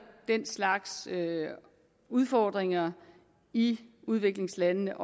den slags udfordringer i udviklingslandene